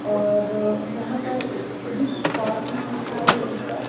और यहाँ पर विश फॉर इट लिखा है ऊपर।